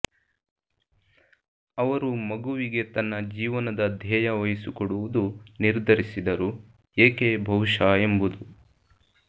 ಅವರು ಮಗುವಿಗೆ ತನ್ನ ಜೀವನದ ಧ್ಯೇಯ ವಹಿಸಿಕೊಡುವುದು ನಿರ್ಧರಿಸಿದರು ಏಕೆ ಬಹುಶಃ ಎಂಬುದು